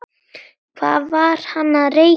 Hvað var hann að reykja?